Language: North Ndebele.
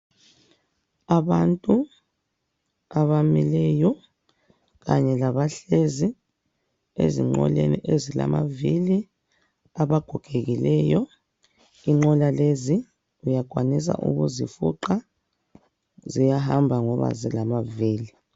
Abantu abamileyo kanye labahlezi ezinqoleni ezilamavili, abagogekileyo kunqola lezi uyakwanisa ukuzifuqa, ziyahamba ngoba zilamavili.